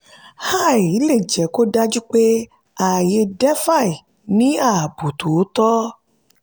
"ai" lè jẹ́ kó dájú pé ààyè "defi" ní ààbò tí ó tọ́.